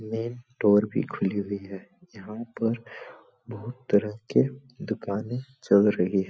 man door भी खुली हुई है यहाँ पर बहुत तरह के दुकानें चल रही --